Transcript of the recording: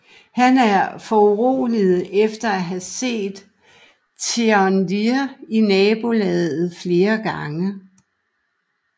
Han er foruroliget efter at have set Thénardier i nabolaget flere gange